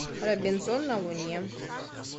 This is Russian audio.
робинзон на луне